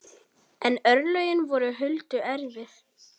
En örlögin voru Huldu erfið.